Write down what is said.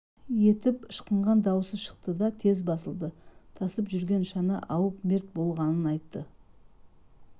етіп ышқынған дауысы шықты да тез басылды тасып жүргенде шана ауып мерт болғанын айтты